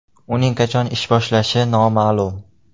Uning qachon ish boshlashi noma’lum.